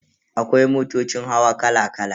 Akwai motocin hawa kala kala.